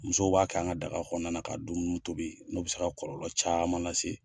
Musow b'a kɛ an ka daga kɔnɔna la ka dumun tobi n'o be se ka kɔlɔlɔ caaman la se